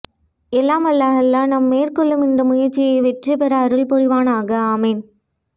எல்லாம் வல்ல அல்லாஹ் நாம் மேற்கொள்ளும் இந்த முயற்சி வெற்றி பெற அருள் புரிவானாக ஆமீன்